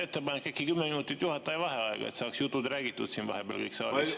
Ettepanek: äkki 10 minutit juhataja vaheaega, et saaks kõik jutud räägitud vahepeal siin saalis?